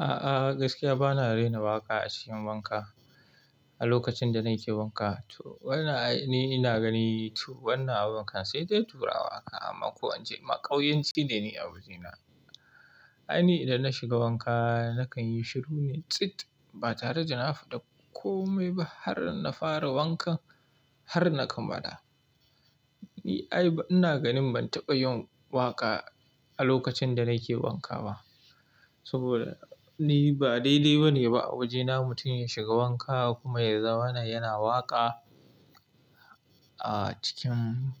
A'a gaskiya bana raina waƙa a cikin wanka. A lokacin da nake wanka to wannan ayi ina gani toh wannan aban kam sai dai turawa aka amma ko wance makauyanci ne a wajena. Ai ni idan na shiga wanka nakan yi shiru ne tsit ba tare da na faɗa komai ba har na fara wankan har na kammala. Ni ai ina ganin ban taɓa yin waƙa a lokacin da nake wanka ba. Saboda ni ba daidai ba ne ba a wajena mutum ya shiga wanka kuma ya zamana yana waƙa a cikin